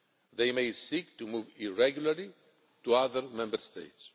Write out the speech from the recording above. They may seek to move irregularly to other Member States.